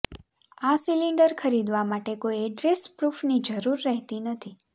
આ સિલિન્ડર ખરીદવા માટે કોઈ એડ્રેસ પ્રૂફની જરૂર રહેતી નથી